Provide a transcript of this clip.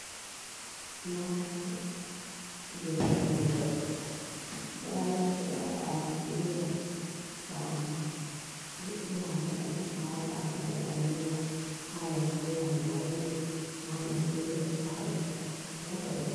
Mararaki jei siwugo, mararaki ɗo a siwiran, to a he'i haako bannin a wawan awata haa nder a lallita. A wawan a siwira marori, a wawan a siwira sha'i, wala ko ɓe siwirta.